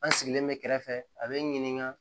An sigilen bɛ kɛrɛfɛ a bɛ n ɲininka